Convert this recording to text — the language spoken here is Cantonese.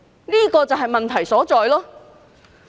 這就是問題所在。